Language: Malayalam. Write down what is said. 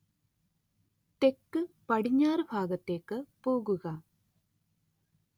തെക്കുപടിഞ്ഞാറ് ഭാഗത്തേക്ക് പോവുക